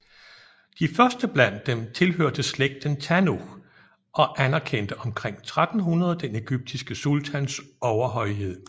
De første blandt dem tilhørte slægten Tanuch og anerkendte omkring 1300 den egyptiske sultans overhøjhed